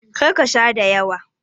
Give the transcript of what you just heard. Kar ka Sha dayawa.